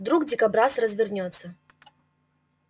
вдруг дикобраз развернётся